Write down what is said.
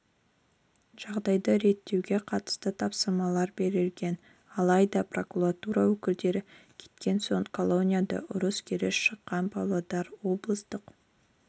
жағдайды реттеуге қатысты тапсырмалар берілген алайда прокуратура өкілдері кеткен соң колонияда ұрыс-керіс шыққан павлодар облыстық